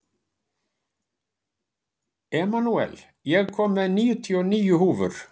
Emanúel, ég kom með níutíu og níu húfur!